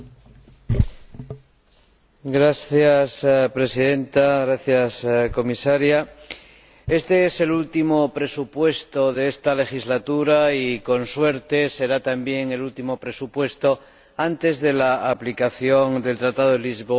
Señora Presidenta, Señora Comisaria, éste es el último presupuesto de esta legislatura y, con suerte, será también el último presupuesto antes de la aplicación del Tratado de Lisboa y de las nuevas disposiciones presupuestarias.